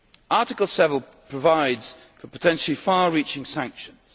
law. Article 7 provides for potentially far reaching sanctions.